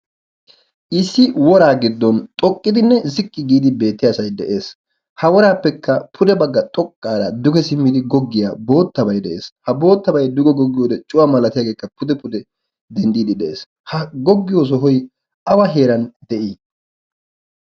issi woraa giddon xoqqidinne ziqqi giidi beetti aasai de'ees. ha woraappekka pude bagga xoqqaara duge simmidi goggiyaa boottabai de'ees. ha boottabay duge goggiyoode cuwaa malatiyaageekka pude pude denddiidi de'ees. ha goggiyo sohoy awa heeran de'ii?